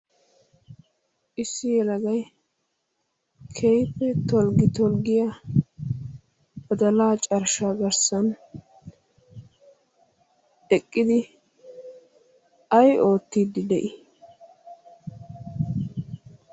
issi yelagai keiife tolggi tolggiyaa badalaa carshshaa garssan deqqidi ai oottiiddi de7ii?